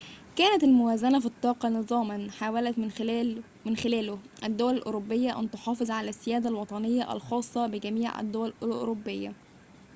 كانت الموازنة في الطاقة نظاماً حاولت من خلاله الدول الأوروبية أن تُحافظ على السيادة الوطنية الخاصة بجميع الدول الأوروبية